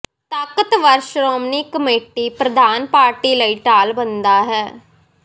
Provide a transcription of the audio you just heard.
ਤਾਕਤਵਰ ਸ਼੍ਰੋਮਣੀ ਕਮੇਟੀ ਪ੍ਰਧਾਨ ਪਾਰਟੀ ਲਈ ਢਾਲ ਬਣਦਾ ਹੈ